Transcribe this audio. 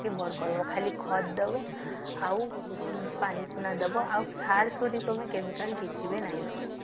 ବଡ କରିପାରିବଖାଲି କ୍ଷତ ଦବ ପାଣି ପୁନା ଦବ ଆଉ ଖାସ କରି chemical କିଛି ନାଇଁ କର ଦବ